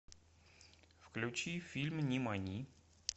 включи фильм нимани